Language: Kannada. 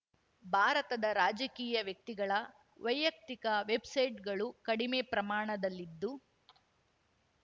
ಭಾರತದ ರಾಜಕೀಯ ವ್ಯಕ್ತಿಗಳ ವೈಯಕ್ತಿಕ ವೆಬ್‌ಸೈಟ್‌ಗಳು ಕಡಿಮೆ ಪ್ರಮಾಣದಲ್ಲಿದ್ದು